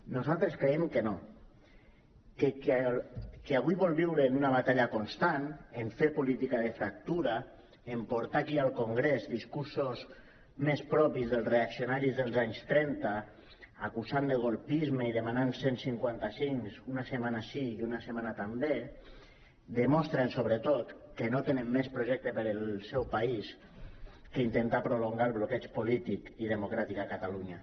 nosaltres creiem que no que qui avui vol viure en una batalla constant en fer política de fractura en portar aquí i al congrés discursos més propis dels reaccionaris dels anys trenta acusant de colpisme i demanant cent i cinquanta cinc una setmana sí i una setmana també demostren sobretot que no tenen més projecte per al seu país que intentar prolongar el bloqueig polític i democràtic a catalunya